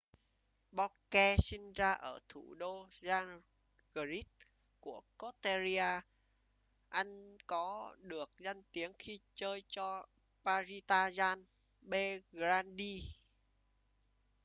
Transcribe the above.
bobek sinh ra ở thủ đô zagreb của croatia anh có được danh tiếng khi chơi cho partizan belgrade